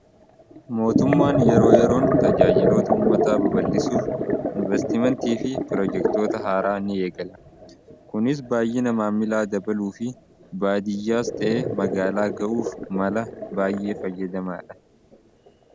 Mootummaan yeroo yeroon tajaajiloota ummataa baballisuuf investimentii fi piroojektoota haaraa ni eegala kunis baay'ina maamilaa dabaluu fi baadiyyaas ta'ee magaalaa ga'uuf mala baayyee fayyadamaa dha.